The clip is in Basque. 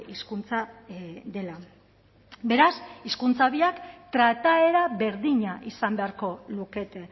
hizkuntza dela beraz hizkuntza biak trataera berdina izan beharko lukete